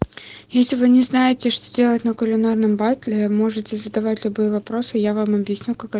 если вы не знаете что делать на кулинарном батле вы можете задавать любые вопросы я вам объясню как э